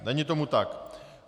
Není tomu tak.